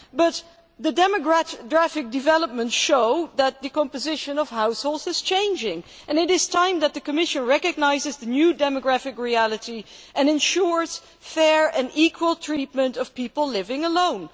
But demographic developments show that the composition of households is changing and it is time that the Commission recognised the new demographic reality and ensured fair and equal treatment for people living alone.